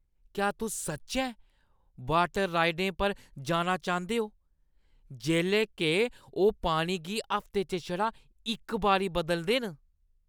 क्या तुस सच्चैं वाटर राइडें पर जाना चांह्दे ओ जेल्लै के ओह् पानी गी हफ्ते च छड़ा इक बारी बदलदे न?